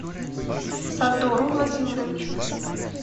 сардору владимировичу